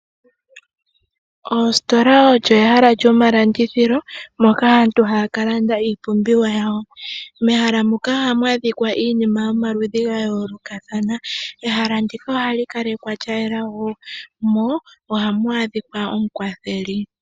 Ositola oyo ehala lyomalandithilo moka aantu haya ka landa iipumbiwa yawo . Mehala muka ohamu adhika iinima yomaludhi ga yoolokathana. Ehala ndika ohali kalekwa lya yela mo ohamu adhika omukwatheli.